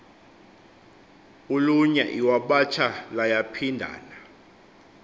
ulunya iwabatsha layaphindana